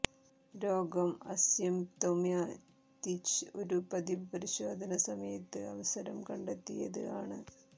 രോഗം അസ്യ്ംപ്തൊമതിച് ഒരു പതിവ് പരിശോധന സമയത്ത് അവസരം കണ്ടെത്തിയത് ആണ്